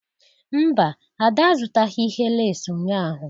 Mba, Ada azụtaghị ihe lace ụnyahụ